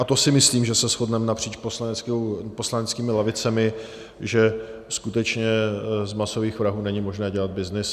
A to si myslím, že se shodneme napříč poslaneckými lavicemi, že skutečně z masových vrahů není možné dělat byznys.